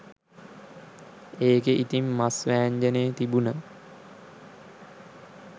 ඒකේ ඉතිං මස් වෑංජනේ තිබුන